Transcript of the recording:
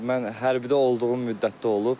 Mən hərbidə olduğum müddətdə olub.